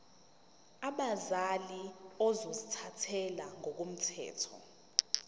abazali ozothathele ngokomthetho